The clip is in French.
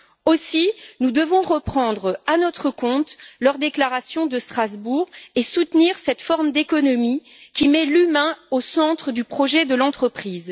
Aussi, nous devons reprendre à notre compte l'appel lancé à Strasbourg et soutenir cette forme d'économie qui met l'humain au centre du projet de l'entreprise.